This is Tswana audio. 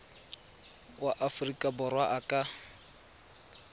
wa aforika borwa a ka